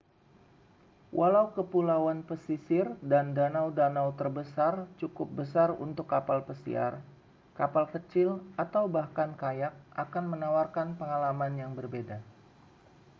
walau kepulauan pesisir dan danau-danau terbesar cukup besar untuk kapal pesiar kapal kecil atau bahkan kayak akan menawarkan pengalaman yang berbeda